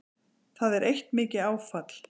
Það eitt er mikið áfall